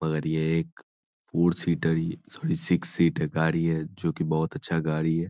मगर ये एक four seater sorry six seater गाड़ी है जो की बहुत अच्छा गाड़ी है।